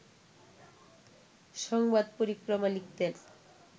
সংবাদ পরিক্রমা লিখতেন